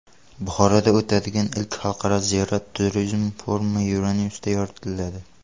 Buxoroda o‘tadigan ilk xalqaro ziyorat turizmi forumi Euronews’da yoritiladi.